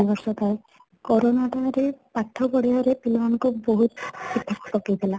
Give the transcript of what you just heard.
ଦୁଇ ବର୍ଷ କାଳ corona ଟା ରେ ପାଠ ପଢିବାରେ ପିଲା ମାନ ଙ୍କର ବହୁତ ପ୍ରଭାବ ପକେଇଥିଲା